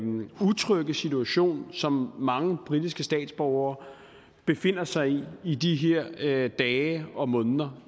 utrygge situation som mange britiske statsborgere befinder sig i i de her dage og måneder